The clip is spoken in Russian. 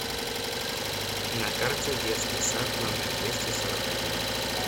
на карте детский сад номер двести сорок один